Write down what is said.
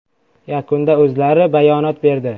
Yakunda o‘zlari bayonot berdi.